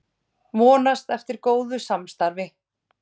Vonast eftir góðu samstarfi